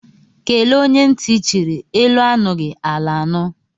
Kelee onye ntị chiri, elu anughi ala anu